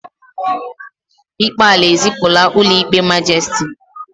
ikpe ala ezipụla ụlọ ikpe majisiti